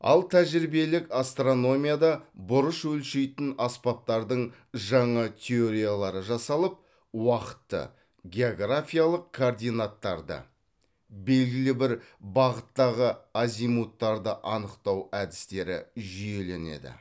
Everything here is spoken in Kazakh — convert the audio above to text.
ал тәжірибелік астрономияда бұрыш өлшейтін аспаптардың жаңа теориялары жасалып уақытты географиялық координаттарды белгілі бір бағыттағы азимуттарды анықтау әдістері жүйеленеді